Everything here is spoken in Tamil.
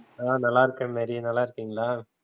ஆஹ் நல்லா இருக்கேன் மேரி நல்லா இருக்கீங்களா?